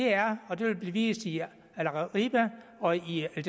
er og det vil blive vist i al arabiya og i al